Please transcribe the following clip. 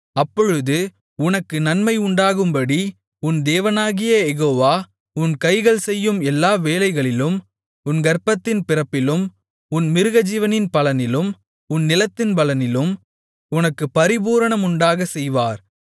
அப்பொழுது உனக்கு நன்மை உண்டாகும்படி உன் தேவனாகிய யெகோவா உன் கைகள் செய்யும் எல்லா வேலைகளிலும் உன் கர்ப்பத்தின் பிறப்பிலும் உன் மிருகஜீவனின் பலனிலும் உன் நிலத்தின் பலனிலும் உனக்குப் பரிபூரணமுண்டாகச் செய்வார்